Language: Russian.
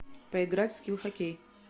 поиграть в скил хоккей